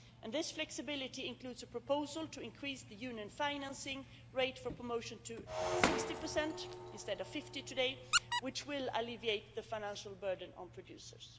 This flexibility includes a proposal to increase the Union's financing rate for promotion to 60, instead of 50 today, which will alleviate the financial burden on producers.